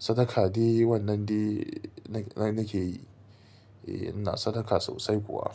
Sadaka de wannan de nake yi. Eh ina sadaka sosai kuwa.